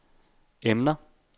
emner